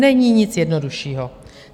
Není nic jednoduššího.